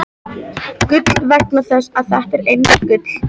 . gull- vegna þess að þetta er einmitt gull!